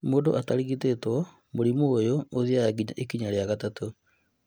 Mũndũ atarigitwo, mũrimũ ũyũ ũthiaga ikinya rĩa gatatũ